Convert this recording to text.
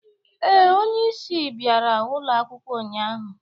Ee, onye isi bịara ụlọ akwụkwọ ụnyahụ.